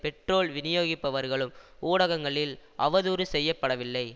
petrol விநியோகிப்பவர்களும் ஊடகங்களில் அவதூறு செய்ய படவில்லை